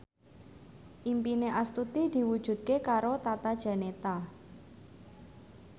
impine Astuti diwujudke karo Tata Janeta